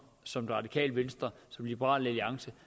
som det radikale venstre som liberal alliance